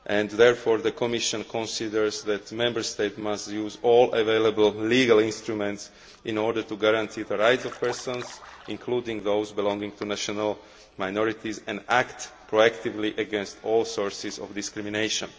Therefore, the Commission considers that Member States must use all available legal instruments in order to guarantee the rights of individuals including those belonging to national minorities and act proactively against all sources of discrimination.